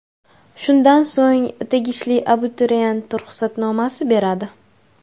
Shundan so‘ng tegishli abituriyent ruxsatnomasini beradi.